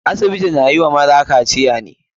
Asibiti na yi maza ne kawai kaciya.